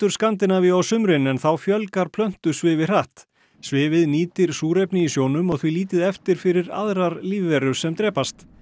Skandinavíu á sumrin en þá fjölgar plöntusvifi hratt svifið nýtir súrefni í sjónum og því lítið eftir fyrir aðrar lífverur sem drepast